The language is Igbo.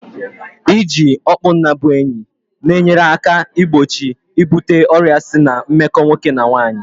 I ji okpunnabuenyi na enyere aka igbochi ibute ọrịa si na meko nwoke na nwaanyị